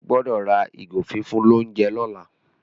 o gbódò rà ìgò fífún l'ounjẹ lola.